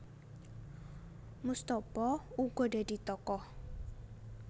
Moestopo uga dadi tokoh